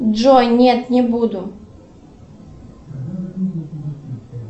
джой нет не буду